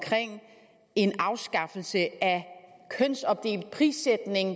en afskaffelse af kønsopdelt prissætning